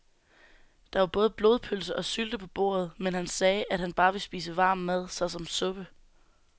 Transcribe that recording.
Der var både blodpølse og sylte på bordet, men han sagde, at han bare ville spise varm mad såsom suppe.